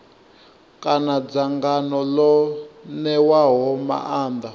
kana dzangano ḽo ṋewaho maanḓa